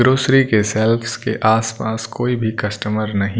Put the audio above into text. grocery के shelf के आसपास कोई भी कस्टमर नहीं--